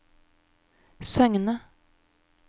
Søgne